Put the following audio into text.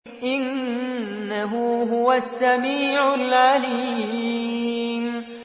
إِنَّهُ هُوَ السَّمِيعُ الْعَلِيمُ